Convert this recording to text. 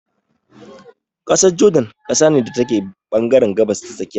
ƙasar jordan ƙasa ne da take ɓangaren gabas ta tsakiya.